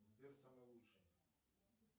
сбер самый лучший